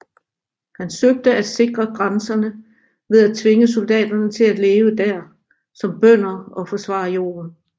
Han søgte at sikre grænserne ved at tvinge soldaterne til at leve dér som bønder og forsvare jorden